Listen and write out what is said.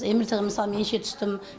мрт ға мысалы бірнеше түстім